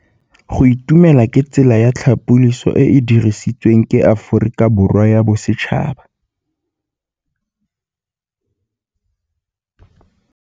Go itumela ke tsela ya tlhapolisô e e dirisitsweng ke Aforika Borwa ya Bosetšhaba.